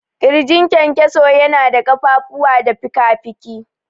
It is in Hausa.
ƙirjin kyankyaso yana da ƙafafuwa da fikafiki.